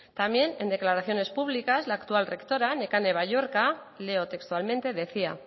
también en declaraciones públicas la actual rectora nekane balluerka leo textualmente decía